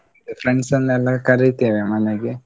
Friends ಅನ್ನೆಲ್ಲಾ ಕರೀತೆವೆ ಮನೆಗೆ.